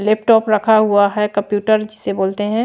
Laptop रखा हुआ है कंप्यूटर जिसे बोलते है।